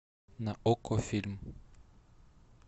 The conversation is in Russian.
на окко фильм